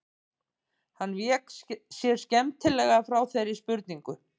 Hann vék sér skemmtilega frá þeirri spurningu.